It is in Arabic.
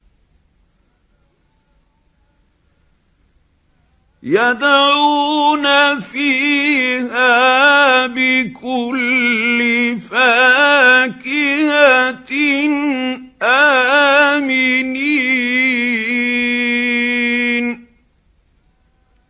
يَدْعُونَ فِيهَا بِكُلِّ فَاكِهَةٍ آمِنِينَ